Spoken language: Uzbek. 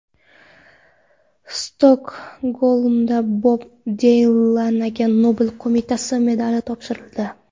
Stokgolmda Bob Dilanga Nobel qo‘mitasi medali topshirildi.